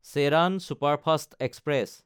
Cheran superfast express